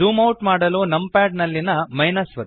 zoom out ಮಾಡಲು numpad ನಲ್ಲಿಯ - ಒತ್ತಿ